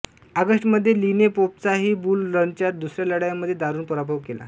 ऑगस्टमध्ये लीने पोपचाही बुल रनच्या दुसऱ्या लढाईमध्ये दारुण पराभव केला